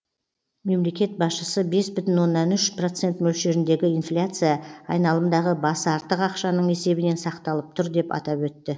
мемлекет басшысы бес бүтін оннан үш процент мөлшеріндегі инфляция айналымдағы басы артық ақшаның есебінен сақталып тұр деп атап өтті